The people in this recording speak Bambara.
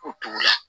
O togo la